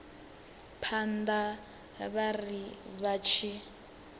phanḓa vha ri vha tshi